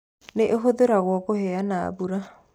Nĩ ĩhũthagĩrũo kũheana mbura